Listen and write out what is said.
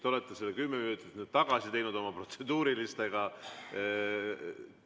Te olete selle kümme minutit oma protseduuriliste küsimustega tagasi teinud.